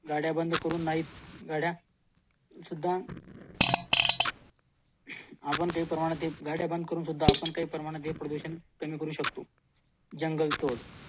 गाड्या बंद करून नाहीत गाड्या सुद्धा आपण काही प्रमाणात हे प्रदूषण कमी करू शकतो जंगल तोड